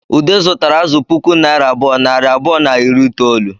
Ude zutara azụ puku naira abụọ, nari abụọ na iri itoolu